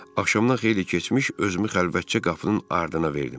Axşamdan xeyli keçmiş özümü xəlvətcə qapının ardına verdim.